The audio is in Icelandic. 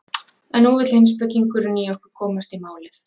En nú vill heimspekingurinn í okkur komast í málið.